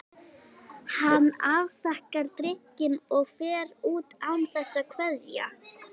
Hann afþakkar drykkinn og fer út án þess að kveðja.